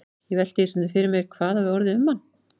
Ég velti því stundum fyrir mér hvað orðið hefði um hann.